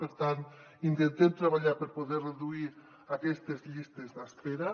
per tant intentem treballar per poder reduir aquestes llistes d’espera